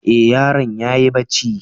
E, yaron ya yi barci.